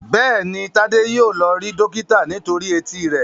Béèni Tade yíò lọ rí dókítà nítorí Etí rẹ.